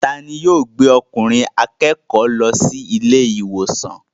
Ta ni yóò gbé okùnrin akékòó lọ sí ilé ìwòsàn.